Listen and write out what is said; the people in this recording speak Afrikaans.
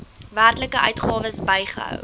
werklike uitgawes bygehou